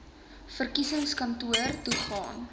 verkiesingskantoor toe gaan